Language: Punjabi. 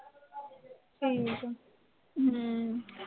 ਹੂੰ ਹੂੰ